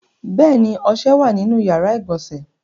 Bẹ́ẹ̀ ni, ọṣẹ wà nínú ìyàrá-ìgbọ̀nsẹ̀.